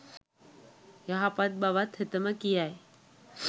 යහපත් බවත් හෙතෙම කියයි.